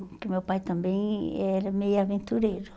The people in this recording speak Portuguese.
Porque o meu pai também era meio aventureiro.